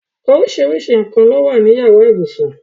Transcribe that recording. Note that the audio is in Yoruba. Oríṣiríṣi nǹkan ni ó wà ní yàrá ibùsùn.